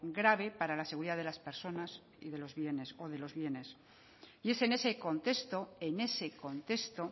grave para la seguridad de las personas o de los bienes y es en ese contexto en ese contexto